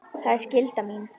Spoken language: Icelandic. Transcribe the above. Það er skylda mín.